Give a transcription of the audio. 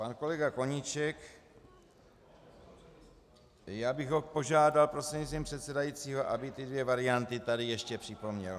Pan kolega Koníček - já bych ho požádal prostřednictvím předsedajícího, aby ty dvě varianty tady ještě připomněl.